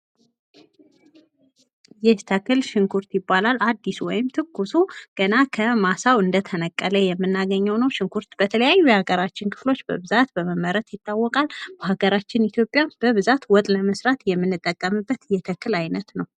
ይህ ተክል ሽንኩርት ይባላል ።አዲሱ ገና ከማሳው እንደተነቀለ ያለው ሲሆን ይህ ሽንኩርት በአብዛኛው የኢትዮጵያ ክፍል ይበቅላል ።ለወጥ መስሪያነት ያገለግላል።